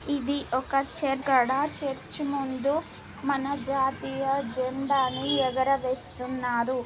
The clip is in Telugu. ఇది ఒక చర్చి. చర్చి ముందు మన జాతీయ జెండాని ఎగురవేస్తున్నారు.